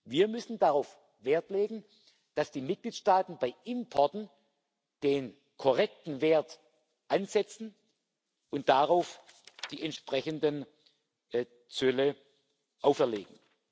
Wir müssen darauf Wert legen, dass die Mitgliedstaaten bei Importen den korrekten Wert ansetzen und darauf die entsprechenden Zölle erheben.